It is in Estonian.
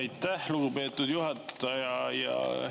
Aitäh, lugupeetud juhataja!